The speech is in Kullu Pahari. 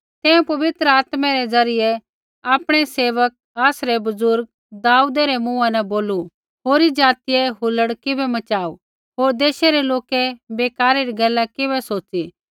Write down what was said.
तैं पवित्र आत्मै रै ज़रियै आपणै सेवक आसरै बुज़ुर्ग दाऊदै रै मूँहा न बोलू होरी ज़ातियै हुल्लड़ किबै मचाऊ होर देशै रै लोकै बेकारै री गैला किबै सोच़ी